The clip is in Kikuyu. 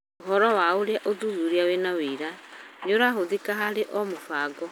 ũhoro wa ũrĩa ũthuthuria wĩna ũira irahũthĩka harĩ o mũbango